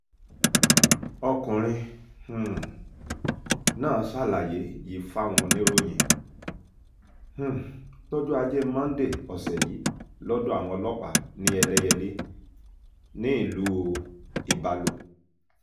ọkùnrin um náà ṣàlàyé yìí fáwọn oníròyìn um lọ́jọ́ ajé Monday ọ̀sẹ̀ yìí lọ́dọ̀ àwọn ọlọ́pàá ní ẹlẹ́yẹlé nílùú ibalo